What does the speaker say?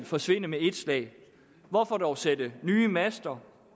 forsvinde med ét slag hvorfor dog sætte nye master